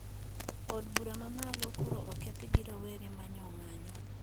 Od bura mamalo koro okethi gi rowere ma nyo ng`anyo